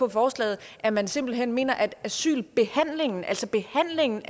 af forslaget at man simpelt hen mener at asylbehandlingen altså behandlingen